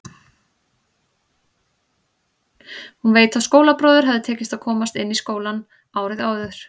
Hún veit að skólabróður hafði tekist að komast inn í skólann árið áður.